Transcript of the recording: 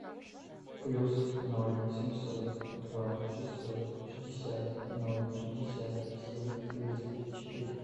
плюс ноль семьсот два шестьсот шестьдесят ноль шестьдесят семь тридцать четыре